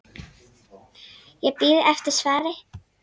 Ég bíð eftir svari.